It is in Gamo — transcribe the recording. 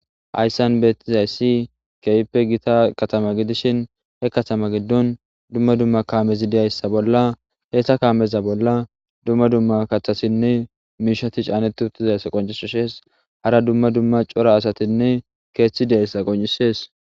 Hayissan betyizayisi kehippe gitta kattama gidishshen he katama giddon duma duma kammezi dizayssa bolla heyssa kammeza bolla duma duma kaththatinne mishshati canneti uttizayisa qoncisesi hara duma duma cora asatinne keththi de'zayissa qonccises.